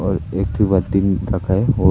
और एक ठो बाल्टी भी रखा है।